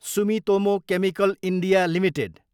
Sumitomo chemical India Ltd